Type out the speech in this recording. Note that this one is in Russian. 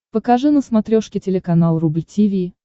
покажи на смотрешке телеканал рубль ти ви